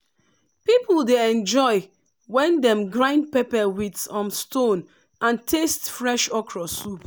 people dey enjoy when dem grind pepper with um stone and taste fresh okro soup.